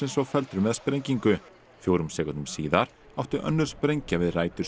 svo felldur með sprengingu fjórum sekúndum síðar átti önnur sprengja við rætur